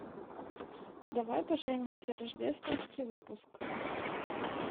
давай поженимся рождественский выпуск